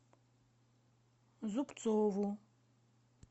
зубцову